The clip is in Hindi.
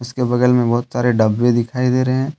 उसके बगल में बहोत सारे डब्बे दिखाई दे रहे हैं।